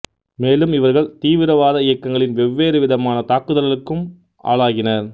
மேலும் இவர்கள் தீவிரவாத இயக்கங்களின் வெவ்வேறு விதமான தாக்குதலுக்கும் ஆளாகினர்